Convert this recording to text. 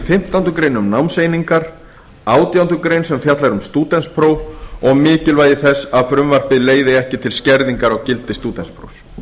fimmtándu grein um námseiningar átjándu grein sem fjallar um stúdentspróf og mikilvægi þess að frumvarpið leiði ekki til skerðingar á gildi stúdentsprófs